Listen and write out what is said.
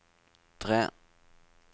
tre